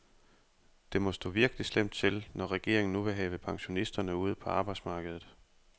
Det må stå virkelig slemt til, når regeringen nu vil have pensionisterne ud på arbejdsmarkedet.